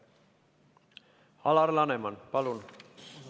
Alar Laneman, palun!